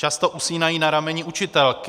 Často usínají na rameni učitelky.